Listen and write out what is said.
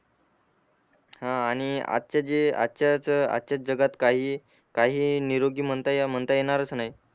हा आणि आजच्या जे आजच्याच आजच्याच जगात काही काही निरोगी म्हणता या म्हणता येणारच नाही